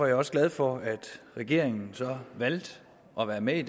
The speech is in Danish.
jeg også glad for at regeringen valgte at være med i